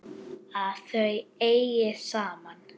Að þau eigi saman.